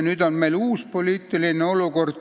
Nüüd on meil uus poliitiline olukord.